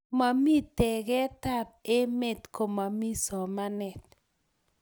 momii tekee kab emee komomii somanet